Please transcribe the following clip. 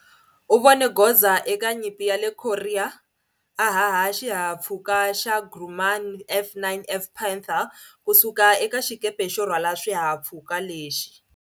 U vone goza eka Nyimpi ya le Korea, a haha xihahampfhuka xa Grumman F9F Panther ku suka eka xikepe xo rhwala swihahampfhuka lexi.